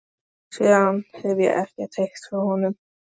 Síðan hefi ég ekkert heyrt frá honum.